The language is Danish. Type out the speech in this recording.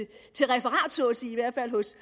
til referat så at sige i hvert fald hos